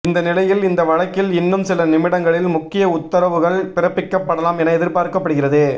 இந்த நிலையில் இந்த வழக்கில் இன்னும் சில நிமிடங்களில் முக்கிய உத்தரவுகள் பிறப்பிக்கப்படலாம் என எதிர்பார்க்கப்படுகிறது